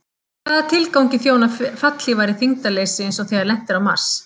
Hvaða tilgangi þjóna fallhlífar í þyngdarleysi eins og þegar lent er á Mars?